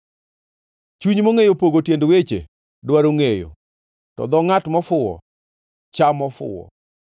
Chuny mongʼeyo pogo tiend weche dwaro ngʼeyo, to dho ngʼat mofuwo chamo fuwo.